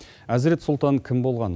әзірет сұлтан кім болған